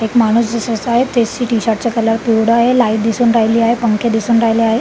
एक माणूस दिसत आहे त्याचे टी-शर्ट कलर पिवळं आहे लाइट दिसून राहिली आहे पंखे दिसून राहिले आहे.